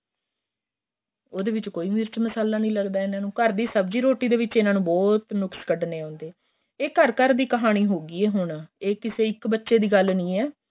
ਉਹਦੇ ਵਿੱਚ ਕੋਈ ਮਿਰਚ ਮਸ਼ਾਲਾ ਨਹੀਂ ਲੱਗਦਾ ਇਹਨਾ ਨੂੰ ਘਰ ਸਬਜੀ ਰੋਟੀ ਵਿੱਚ ਇਹਨਾ ਨੂੰ ਬਹੁਤ ਨੁੱਸਕ ਕੱਢਣੇ ਹੁੰਦੇ ਏ ਏਹ ਘਰ ਘਰ ਦੀ ਕਹਾਣੀ ਹੋ ਗਈ ਏ ਹੁਣ ਏਹ ਕਿਸੇ ਇੱਕ ਬੱਚੇ ਦੀ ਗੱਲ ਨਹੀਂ ਏ